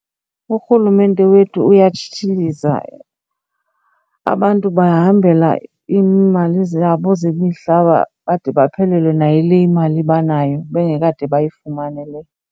Urhulumente wethu uyatshitshiliza, abantu bahambela iimali zabo zemihlaba bade baphelelwe nayile imali banayo bengekade bayifumane le.